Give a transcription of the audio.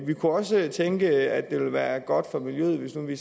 vi kunne også tænke at det ville være godt for miljøet hvis vi